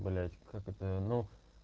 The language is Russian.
блять как это ну